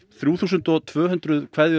þrjú þúsund og tvö hundruð jólakveðjur